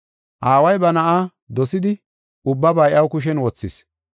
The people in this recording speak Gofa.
Aaway ba Na7aa dosidi ubbaba iya kushen wothis.